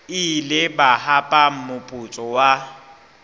ile ba hapa moputso wa